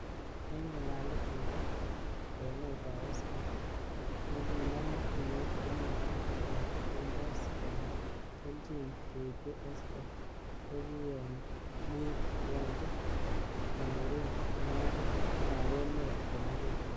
Eng nga'alalet nebo lewenetab Oscar's, nekinomu filimit, komwae Kang Quintus kole kelchin keityi Oscar kokiyomeibkonde cameroon mapit ab emet komugul.